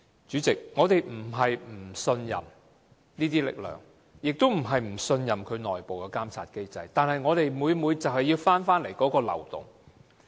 主席，我們並非不信任這些力量，也並非不信任其內部監察機制，但我們很擔心這個漏洞的存在。